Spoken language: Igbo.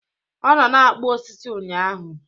Ọ nọ na-akpụ osisi ụnyaahụ